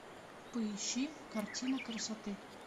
поищи картина красоты